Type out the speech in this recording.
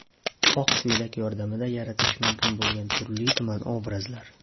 Oq ko‘ylak yordamida yaratish mumkin bo‘lgan turli-tuman obrazlar.